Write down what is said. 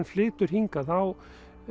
flytur hingað þá